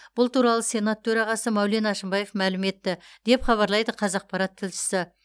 бұл туралы сенат төрағасы маулен әшімбаев мәлім етті деп хабарлайды қазақапарат тілшісі